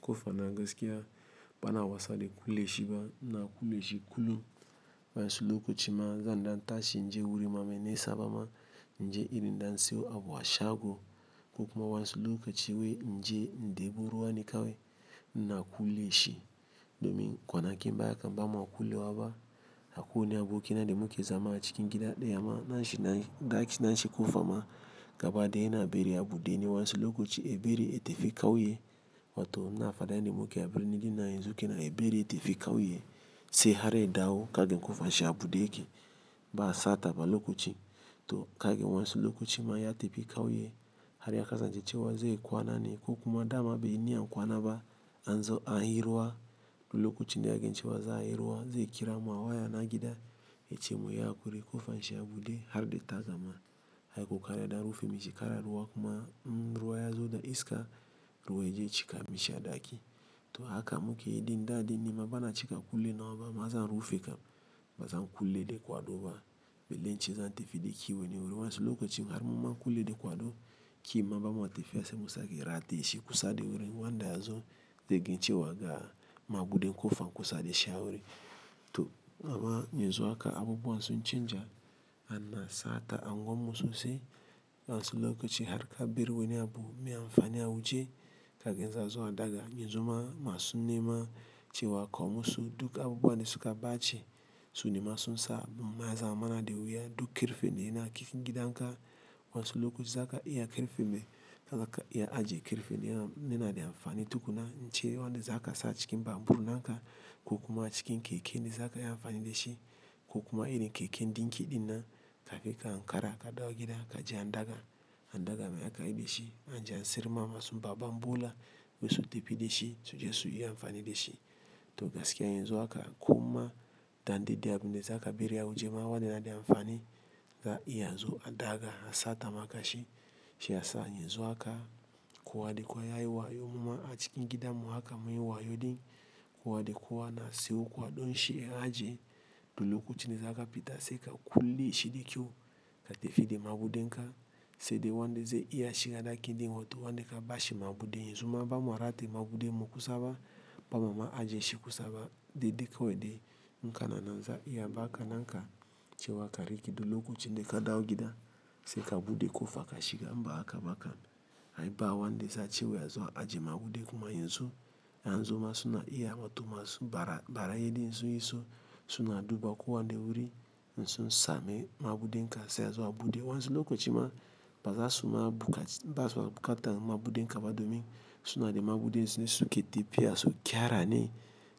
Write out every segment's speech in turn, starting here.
Kofa na gaskiya bana wasa de kule shi ba na kule shi kulu. Wasu lokaci ma zandan tashi inje wuri ma menisa bama inje irin dan siyo abu a shago. Ko kuma wasu lokaci inje in debo ruwa ne kawai ina kule shi. Domin kwanakin baya kan bama kule waba akuwai wani abokina de muke zama cikin gida deya ma na shi na daki na shi kofa ma gaba daya yana beri abu de ni wayansu lokulaci eberi ete fi kawe. Wato na fadaya de muke aberi ni di na yenzu ke na eberi ete fi kawe. Se hare dawo kage kofa shi abude ke ba sata ba lokuci. To kagan wasu lokacin ma ya tafi kawai, har ya kasance cewa zaiyi kwana ne ko kuma dama baiyi niyyan kwana ne, Lokuci ni ya kage nje chewa za hirua ze kira mwa waya na gida eche mu ya kure kofa shi abude hare de ta zama. Haiko kare da rufe mi shi kara ruwa kuma nruwa ya zo da iska ruwe je cika mi shi a daki. To haka muke idi nda de ni ma bana cika kule na wa ba ma za rufe ka ba za kule de kwado ba. Bele nche za te fi de kiwe ni uri wansulu kuci hare muma kule de kwado ki ma ba ma te fi ya se musa ke rate shi kusa de uri ngwanda ya zo te kage nje chewa ga mabude kofa kusa de sha uri. To ma ma yenzu haka abubuwa sun cinja a na sata ango musu se wansulu kuci hare ka biriwe ni abu miya mfani a wuje kage nza zo a daga yenzu ma ma sun nema chewa ko musu duk abubuwa de su ka baci sun nema sun sa muma ya zama na de wuya duk kirfe de yana kikingida nka wasu lokacin zaka iya karfe ne, zaka iya ajiye karfe ne yana da amfani tukunna ance zakasa acikin babur naka ko kuma cikin keke ne zaka iya amfani dashi. Ko kuma iri keke ndinki dinnan ka fe ka an kara ka dawgida ka je an daga an daga ma ya ka iri de shi an je an sirma masu baban bola we su te fi de shi su je su iya amfani de shi. To gaskiya yanzu haka kuma dande duk abin da zaka beri awaje yana da amfani, za'a iya azo a data maka shi, shi yasa yanzu haka kowa de kowa ya yi wayo muma a cikin gidan mu haka mun yi wayo din kowa de kowa na sewo kwadon shi ya aje lokuci ni za ka pita se ka kule shi de kiwo ka te fi de mabude nka se de wa de ze iya shi ka daki din wato wa de ka bashi mabude yenzu ma ba ma rate mabude mu kusa ba ba ma aje shi kusa ba de de ka wa de nka na nan za iya ba haka nka chewa kare ki do lokuci de ka dawgida se ka bude kofa ka shiga mba haka ma ka ai ba wa de za chewa ya zo a aje mabude kuma yenzu ya an zo ma suna iya wato ma su bara bara ye de yenzu iso suna duba kuwa wa de uri nsun sa me mabude nka se ya zo abude wansulu kuci ma ba za su ma buka ba za su bukata mabude nka ba domin suna de mabude nsu ne su ke te fi ya su gyara ni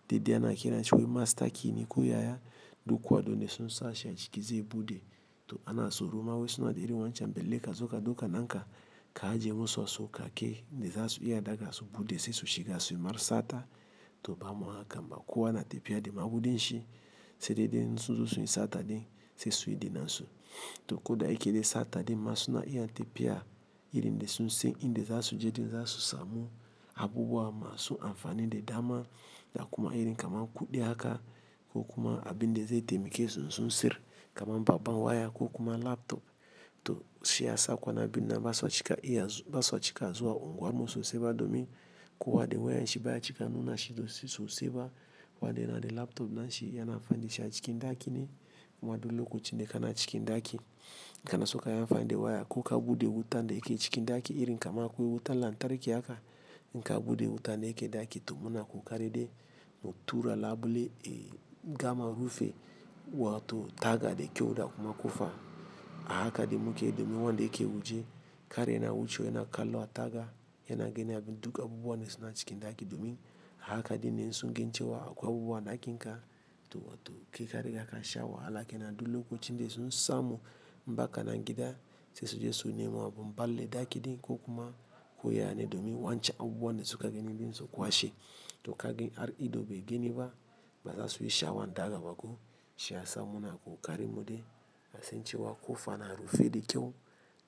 de de ana kirana chewe master key ni kuya ya do kuwa don de sun sa shi a ciki ze bude. To ana so ruwa we suna de iri wancan bele ka zo ka duka nka ka aje musu a so ka ke de za su iya a daga a so bude se su shiga su mar sata to ba ma haka ba kuwa na te fi ya de mabude nshi se de de nsun zu su yi sata din se su yi dina nsu. To ko da yake de sata din ma suna iya te fi ya iri de sun se in de za su je din za su samu abubuwa ma su amfani de dama da kuma iri kama kuɗe haka ko kuma abu de ze ite muke sun sun sir kama baba n waya ko kuma laptop to shi ya sa kwana bith nan ba sa cika iya ba sa cika zuwa unguwa musu se ba domin kuwa de waya n shi baya cika nuna shi to su so se ba wa de na de laptop na shi yana amfani shi a cikin daki ni ma dole lokuci de ka na cikin daki ka na so ka iya amfani da waya ko ka bude wuta de yake cikin daki iri kama akuwo wuta lantarki haka nka bude wuta na yake daki to muna ku kare de mu tura labule e gama rufe wato taga de kyau da kuma kofa a haka de muke domin wa de yake wuje kar yana wucewa yana kallo a taga yana ganin abin duk abubuwa suna cikin dakin, domin a haka dinne in sun gani cewa akwai wani abu a dakinka to wato ke kare haka sha wahala ke na dole lokuci de sun samu mbaka na gida se su je su nema abu mbal le daki din ko kuma kuya ne domin wancan abubuwa de su ka gani din su kwashi to kage ar ido bai gani ba ba za su yi sha wan daga ba ko shi ya sa muna ku kare mode asen chewa kofa na rufe de kiwo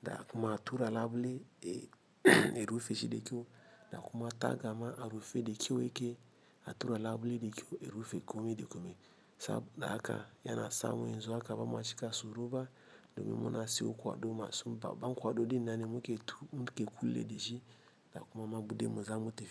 da kuma tura labule e rufe shi de kyau da kuma taga ma arufe de kyau yake a tura labule de kiwo rufe kome de kome sa da haka yana sa mu yenzu haka ba ma cika so ruwa domin muna se ukuwa do ma su baba n kwado de na ni muke tu muke kule de shi da kuma mabude mu za mu te fi.